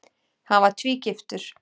Hann var tvígiftur.